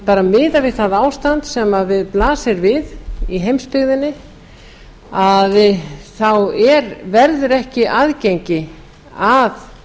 því miðað við það ástand sem blasir við í heimsbyggðinni þá verður ekki aðgengi að